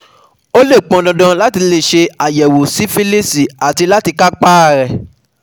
Ó lè pọn dandan láti ṣe àyẹ̀wò sífílíìsì áti lè kápá a rẹ̀